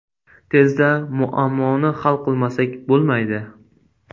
Tezda muammoni hal qilmasak bo‘lmaydi”.